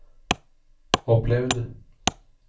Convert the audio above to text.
opplevd